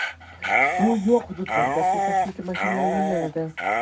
Suv yo‘q hududlarga suv tashuvchi mashinalar yo‘llanadi.